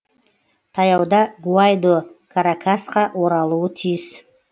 таяуда гуайдо каракасқа оралуы тиіс